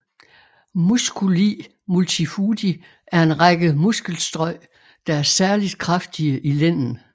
Musculi multifudi er en række muskelstrøj der er særligt kraftige i lænden